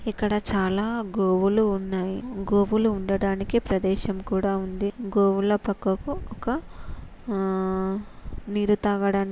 ఇక్కడ చాలా గోవులు ఉన్నవి. గోవులు ఉండడానికి ప్రదేశం కూడా ఉంది. గోవుల పక్కకు ఒక నీరు తాగడానికి--